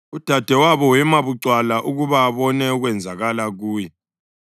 Udadewabo wema bucwala ukuba abone okwenzakala kuye.